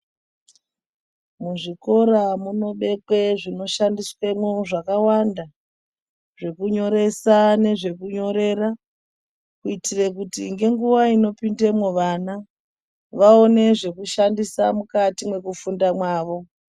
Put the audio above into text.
Muzvikora munobekwe zvinoshandiswemwo zvakawanda, zvekunyoresa nezvekunyorera, kuitire kuti ngenguwa inopindemwo vana, vaone zvekushandisa mukati mwekufunda mwavo.